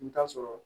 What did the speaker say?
I bɛ taa sɔrɔ